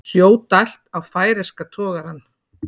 Sjó dælt á færeyska togarann